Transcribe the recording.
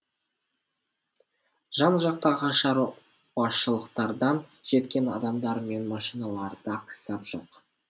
жан жақтағы шаруашылықтардан жеткен адамдар мен машиналарда қисап жоқ